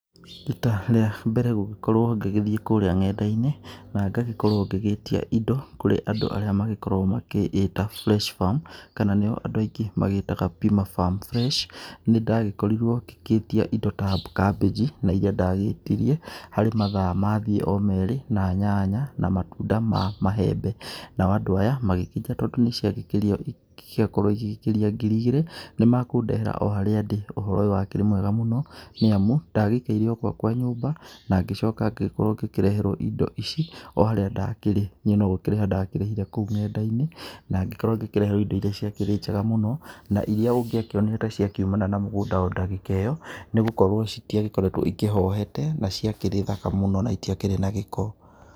Rita rĩambere gũgĩkorwo ngĩgĩthiĩ kũrĩa nenda-inĩ, na ngagĩkorwo ngĩgĩtia indo kũrĩ andũ arĩa magĩkoragwo makĩĩta Fresh farm, kana nĩo andũ aingĩ magĩtaga Pima farm fresh, nĩndagĩkorirwo ngĩgĩtia indo ta kambĩnji, na iria ndagĩtirie, harĩ mathaa mathiĩ o merĩ, na nyanya, na matunda ma maembe. Nao andũ aya, magĩkĩnjĩra tondũ nĩciagĩkĩria ciagĩkorwo igĩgĩkĩria ngiri igĩrĩ, nĩnekũndehera oharĩa ndĩ. Ũhoro ũyũ wakĩrĩ mwega mũno, nĩamu ndagĩikaire ogwakwa nyũmba, nangĩcoka ngĩgĩkorwo ngĩkĩreherwo indo ici oharĩa ndakĩrĩ, niĩ nogũkĩrĩha ndakĩrĩhire kũu nenda-inĩ, nangĩkorwo ngĩkĩreherwo indo iria ciakĩrĩ njega mũno, na iria ũngĩakĩonire ta ciakiumana na mũgũnda o ndagĩka ĩyo, nĩgũkorwo ciatiagĩkoretwo cikĩhohete na ciakĩrĩ thaka mũno na itiakĩrĩ na gĩko.